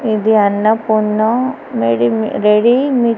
ఇది అన్నపూర్ణ రెడీ మీ రెడీ మీ --